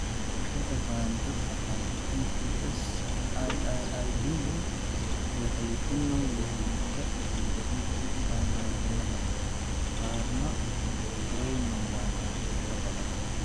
Inta badan dadka qaba MPS IIID waxay ku nool yihiin da'dooda qaan-gaarnimada, qaarna way noolaadaan in ka badan.